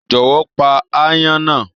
Jọwọ, pá aáyán náà!